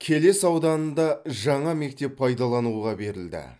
келес ауданында жаңа мектеп пайдалануға берілді